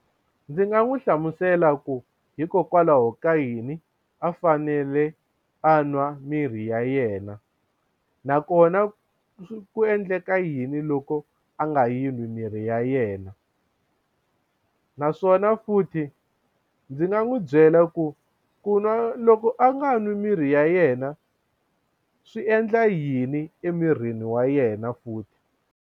Ndzi nga n'wi hlamusela ku hikokwalaho ka yini a fanele a nwa mirhi ya yena nakona ku ku endleka yini loko a nga yi n'wi mirhi ya yena yena naswona futhi ndzi nga n'wi byela ku ku nwa loko a nga nwi mirhi ya yena swi endla yini emirini wa yena futhi.